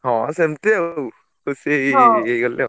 ହଁ ~ସେ ~ମତି ଆଉ ଖୁସି ହେଇଗଲି ଆଉ।